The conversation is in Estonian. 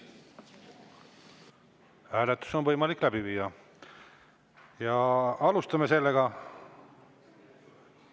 Hääletus on võimalik läbi viia ja alustame seda.